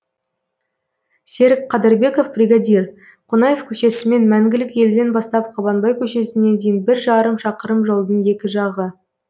серік қадырбеков бригадир қонаев көшесімен мәңгілік елден бастап қабанбай көшесіне дейін бір жарым шақырым жолдың екі жағы